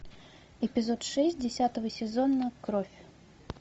эпизод шесть десятого сезона кровь